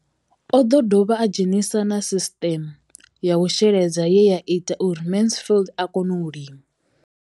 O ḓo dovha a dzhenisa na sisiṱeme ya u sheledza ye ya ita uri Mansfied a kone u lima.